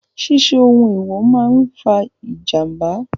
Ṣíṣe ohun èèwò máa fa ìjàmbá.